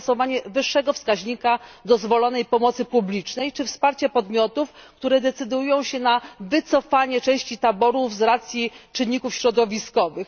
zastosowanie wyższego wskaźnika dozwolonej pomocy publicznej czy wsparcie podmiotów, które decydują się na wycofanie części taborów z racji czynników środowiskowych.